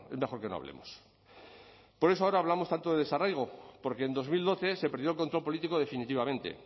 mejor que no hablemos por eso ahora hablamos tanto de desarraigo porque en dos mil doce se perdió el control político definitivamente